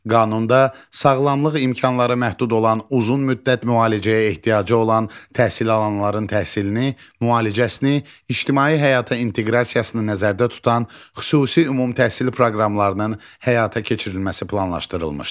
Qanunda sağlamlıq imkanları məhdud olan, uzun müddət müalicəyə ehtiyacı olan təhsil alanların təhsilini, müalicəsini, ictimai həyata inteqrasiyasını nəzərdə tutan xüsusi ümumtəhsil proqramlarından həyata keçirilməsi planlaşdırılmışdı.